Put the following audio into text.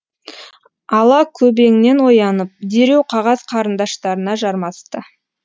ала көбеңнен оянып дереу қағаз қарындаштарына жармасты